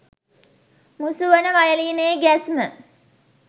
මුසු වන වයලීනයේ ගැස්ම